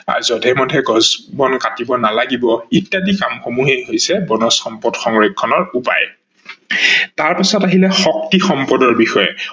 আৰু জধে মধে গছ বন কাতিব নালাগিব ইত্যাদি কাম সমূহ হৈছে বনজ সম্পদ সংৰক্ষনৰ উপায় ।তাৰ পিছত আহিলে শক্তি সম্পদৰ বিষয়ে